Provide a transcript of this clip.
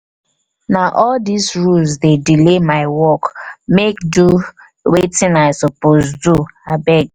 na all dese rules dey delay my work make do make do wetin i suppose do abeg.